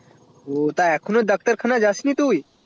ও তা এখনো ডাক্তার খানা যাসনি তুই